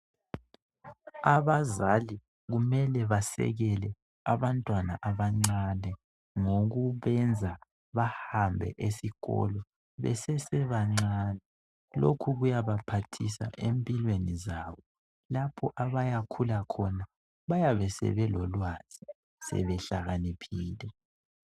Abazali kumele basekele abantwana abancane. Ngokubenza bahambe esikolo besesebancani .Lokhu kuyabaphathisa empilweni zabo .Lapho abayakhula khona bayabe sebelolwazi ,sebehlakaniphile.